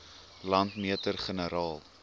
landmeter generaal